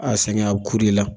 A sɛgɛn a bi ku de la